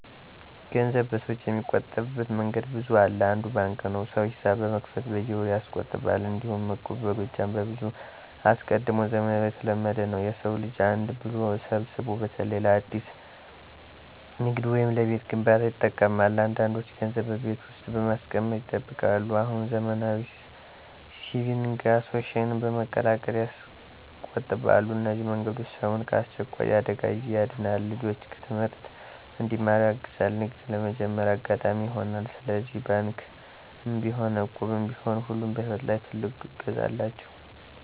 ገንዘብ በሰዎች የሚቆጠበብት መንገድ ብዙ አለ። አንዱ ባንክ ነው፣ ሰው ሒሳብ በመክፈት በየወሩ ያስቆጥባል። እንዲሁም እቁብ በጎጃም ከብዙ አስቀድሞ ዘመን የተለመደ ነው፤ የሰው ልጅ አንድ ብሎ ሰብስቦ በተለይ ለአዲስ ንግድ ወይም ለቤት ግንባታ ይጠቅማል። አንዳንዶች ገንዘብ በቤት ውስጥ በማስቀመጥ ይጠብቃሉ፣ አሁን ዘመናዊ ሲቪንግ አሶሴሽን በመቀላቀል ያስቆጥባሉ። እነዚህ መንገዶች ሰውን ከአስቸኳይ የ አደጋ ጊዜ ያድናሉ፣ ልጆች ትምህርት እንዲማሩ ያግዛሉ፣ ንግድም ለመጀመር አጋጣሚ ይሆናሉ። ስለዚህ ባንክም ቢሆን እቁብም ቢሆን ሁሉ በሕይወት ላይ ትልቅ እገዛ አላቸው።